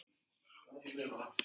Þar vex laxinn hraðar.